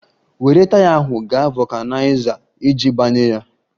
Were taya ahụ gaa vulkaniza iji gbanye ya!